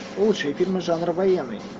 лучшие фильмы жанра военный